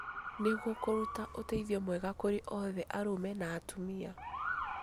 Nĩguo kũruta ũteithio mwega kũrĩ othe arũme na atumia.